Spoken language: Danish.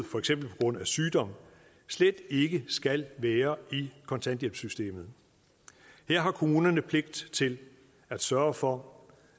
for eksempel på grund af sygdom slet ikke skal være i kontanthjælpssystemet her har kommunerne pligt til at sørge for